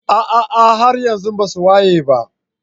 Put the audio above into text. ah ah haryanxu basuwayeba.